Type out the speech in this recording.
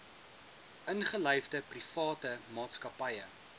ingelyfde private maatskappye